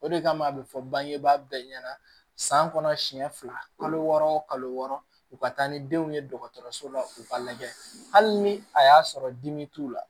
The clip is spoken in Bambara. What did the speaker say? O de kama a bɛ fɔ bangebaa bɛɛ ɲɛna san kɔnɔ siɲɛ fila kalo wɔɔrɔ o kalo wɔɔrɔ u ka taa ni denw ye dɔgɔtɔrɔso la u ka lajɛ hali ni a y'a sɔrɔ dimi t'u la